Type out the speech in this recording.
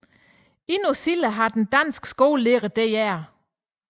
Endnu senere har den danske skolelærer dr